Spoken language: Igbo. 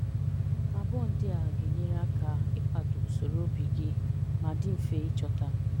Abụọ ndị a ga-enyere aka ịkwado usoro obi gị ma dị mfe ịchọta.